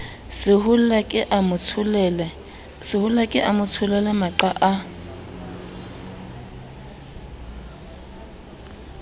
sehollake a motsholele maqa a